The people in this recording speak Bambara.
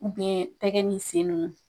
tɛgɛ ni sen ninnu